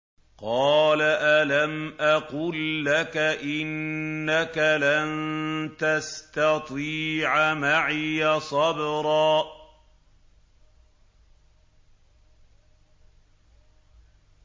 ۞ قَالَ أَلَمْ أَقُل لَّكَ إِنَّكَ لَن تَسْتَطِيعَ مَعِيَ صَبْرًا